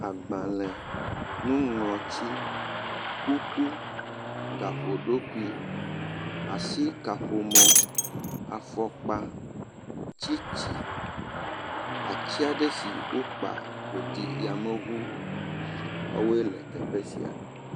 Agbalẽ, nuŋlɔtsi, kuku, gaƒoɖokui, asikaƒomɔ, afɔkpa, tsitsi, atsi aɖe si wokpa wòɖi yameŋume woawoe le teƒe sia.